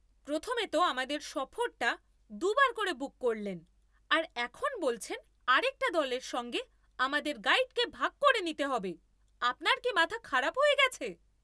প্রথমে তো আমাদের সফরটা দু'বার করে বুক করলেন, আর এখন বলছেন আরেকটা দলের সঙ্গে আমাদের গাইডকে ভাগ করে নিতে হবে। আপনার কি মাথা খারাপ হয়ে গেছে?